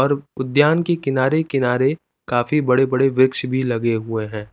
और उद्द्यान के किनारे किनारे काफी बड़े बड़े वृक्ष भी लगे हुए हैं।